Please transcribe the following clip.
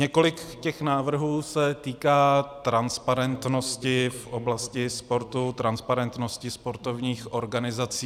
Několik těch návrhů se týká transparentnosti v oblasti sportu, transparentnosti sportovních organizací.